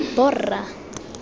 borra